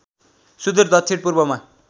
सुदूर दक्षिण पूर्वमा